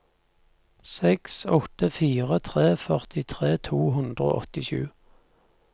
seks åtte fire tre førtitre to hundre og åttisju